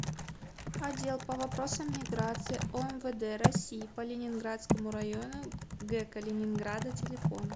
отдел по вопросам миграции омвд россии по ленинградскому району г калининграда телефон